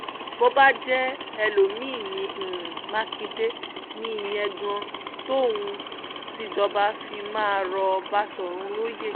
bó bá jẹ́ ẹlòm-ín ní mákindé ní ìyẹn gan-an tó ohun tíjọba fi máa rọ báṣọ̀run lóye